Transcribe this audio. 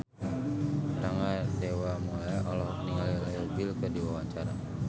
Rangga Dewamoela olohok ningali Leo Bill keur diwawancara